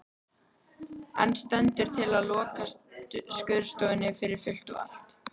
En stendur til að loka skurðstofunni fyrir fullt og allt?